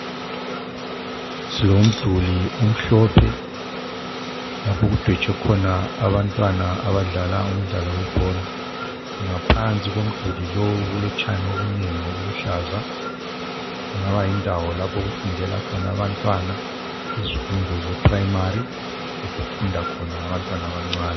Silomduli omhlophe lapho okudwetshwe khona abantwana abadlala umdlalo webhola ngaphansi komduli lowu kulotshani obunengi obuluhlaza kungaba yindawo lapho okufundela abantwana izifunde zebanga eliphasi lapho okufunda khona abantwana abancane.